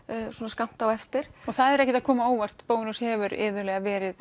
skammt á eftir og það er ekkert að koma á óvart Bónus hefur iðulega verið